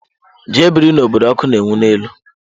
Jee biri n'obodo ọkụ na-enwu n'elu!